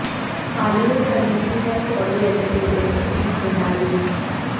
हाल ही में खरीदी है सोनी एंटरटेनमेंट में हिस्सेदारी